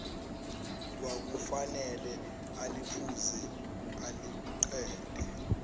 kwakufanele aliphuze aliqede